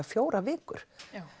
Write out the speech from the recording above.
fjórar vikur